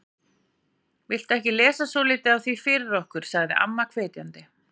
Viltu ekki lesa svolítið af því fyrir okkur sagði amma hvetjandi.